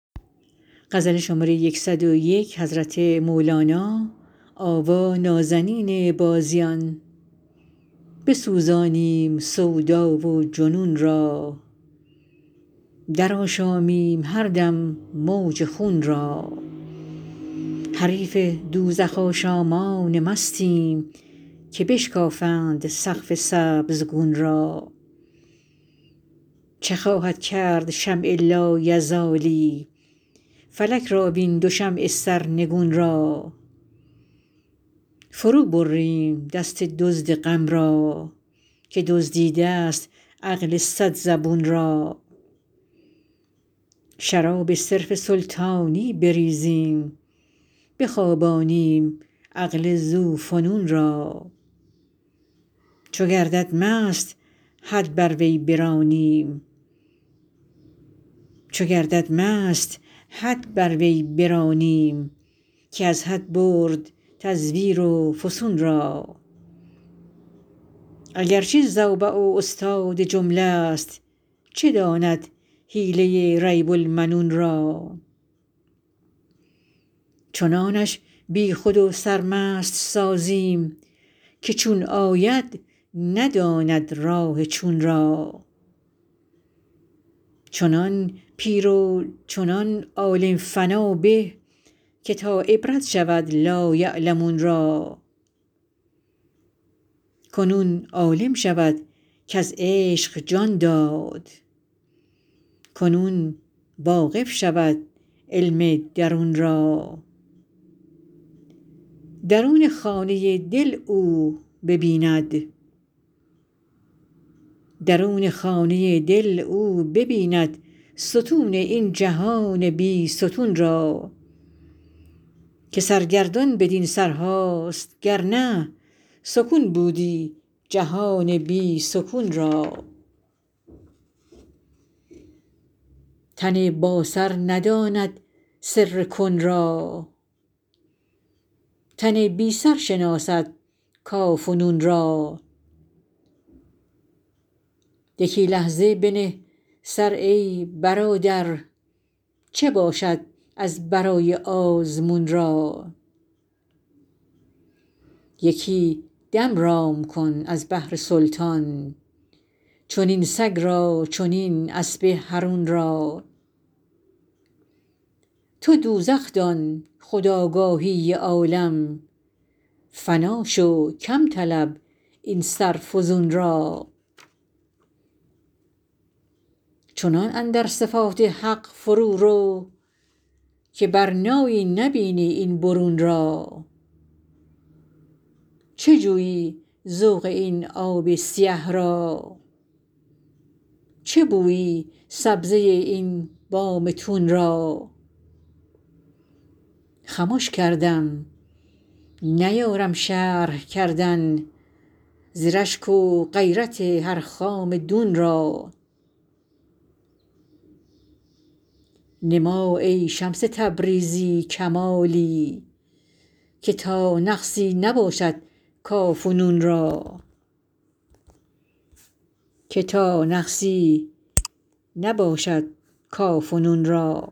بسوزانیم سودا و جنون را درآشامیم هر دم موج خون را حریف دوزخ آشامان مستیم که بشکافند سقف سبزگون را چه خواهد کرد شمع لایزالی فلک را وین دو شمع سرنگون را فروبریم دست دزد غم را که دزدیده ست عقل صد زبون را شراب صرف سلطانی بریزیم بخوابانیم عقل ذوفنون را چو گردد مست حد بر وی برانیم که از حد برد تزویر و فسون را اگر چه زوبع و استاد جمله ست چه داند حیله ریب المنون را چنانش بی خود و سرمست سازیم که چون آید نداند راه چون را چنان پیر و چنان عالم فنا به که تا عبرت شود لایعلمون را کنون عالم شود کز عشق جان داد کنون واقف شود علم درون را درون خانه دل او ببیند ستون این جهان بی ستون را که سرگردان بدین سرهاست گر نه سکون بودی جهان بی سکون را تن باسر نداند سر کن را تن بی سر شناسد کاف و نون را یکی لحظه بنه سر ای برادر چه باشد از برای آزمون را یکی دم رام کن از بهر سلطان چنین سگ را چنین اسب حرون را تو دوزخ دان خود آگاهی عالم فنا شو کم طلب این سر فزون را چنان اندر صفات حق فرورو که برنایی نبینی این برون را چه جویی ذوق این آب سیه را چه بویی سبزه این بام تون را خمش کردم نیارم شرح کردن ز رشک و غیرت هر خام دون را نما ای شمس تبریزی کمالی که تا نقصی نباشد کاف و نون را